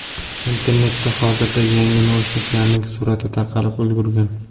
Internetda hozirda yangi naushniklarning surati tarqalib ulgurgan.